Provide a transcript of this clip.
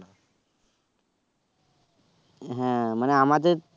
হ্যাঁ মানে আমাদের